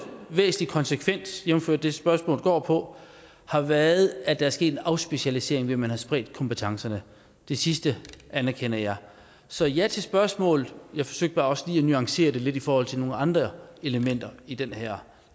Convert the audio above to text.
væsentlig konsekvens jævnfør det spørgsmålet går på har været at der er sket en afspecialisering ved at man har spredt kompetencerne det sidste anerkender jeg så ja til spørgsmålet jeg forsøgte bare også lige at nuancere det lidt i forhold til nogle andre elementer i den her